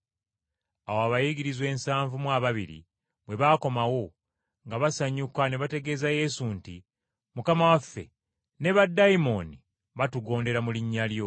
Awo abayigirizwa ensavu mu ababiri bwe baakomawo, nga basanyuka ne bategeeza Yesu nti, “Mukama waffe, ne baddayimooni baatugondera mu linnya lyo.”